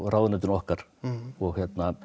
ráðuneytinu okkar og